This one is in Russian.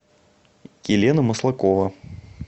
елена маслакова